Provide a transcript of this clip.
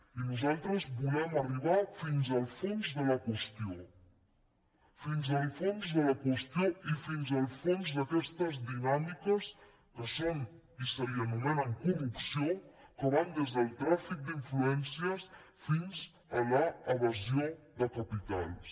i nosaltres volem arribar fins al fons de la qüestió fins al fons de la qüestió i fins al fons d’aquestes dinàmiques que són i s’anomenen corrupció que van des del tràfic d’influències fins a l’evasió de capitals